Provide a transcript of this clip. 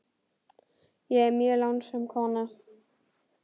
Ég er mjög lánsöm kona.